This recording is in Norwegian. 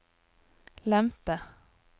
lempe